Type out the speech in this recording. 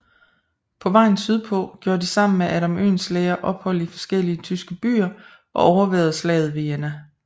På vejen sydpå gjorde de sammen med Adam Oehlenschläger ophold i forskellige tyske byer og overværede Slaget ved Jena